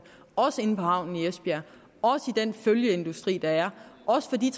også inde på havnen i esbjerg også i den følgeindustri der er også for de